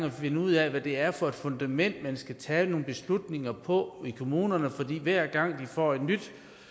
at finde ud af hvad det er for et fundament man skal tage nogle beslutninger på i kommunerne for hver gang de får et nyt